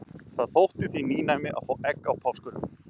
Það þótti því nýnæmi að fá egg á páskum.